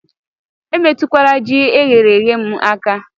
Emetụkwala Ji eyere èyé m aka